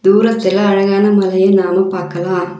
தூரத்துல அழகான மலைய நாம பாக்கலா.